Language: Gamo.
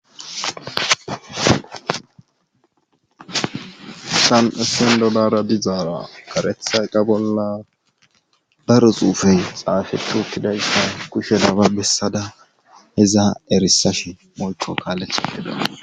Sam'essen dolara dizaara karethay qa bolla baruxuufey xaafehu huttidayssa kushe daba bessada heza erisash molko kaaletha geda